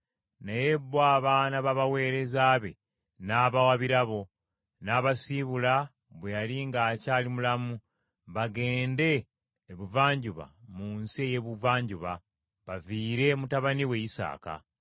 Naye bo abaana b’abaweereza be n’abawa birabo, n’abasiibula bwe yali ng’akyali mulamu bagende ebuvanjuba mu nsi ey’ebuvanjuba; baviire mutabani we Isaaka.